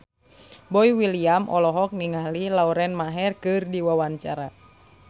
Boy William olohok ningali Lauren Maher keur diwawancara